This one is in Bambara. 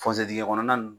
dingɛ kɔnɔna